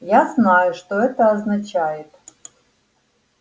я знаю что это означает